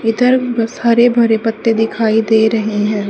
इधर बस हरे भरे पत्ते दिखाइ दे रहे है।